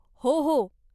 हो, हो.